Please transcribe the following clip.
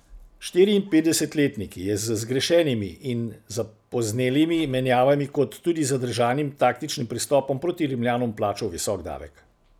Štiriinpetdesetletnik je z zgrešenimi in zapoznelimi menjavami kot tudi zadržanim taktičnim pristopom proti Rimljanom plačal visok davek.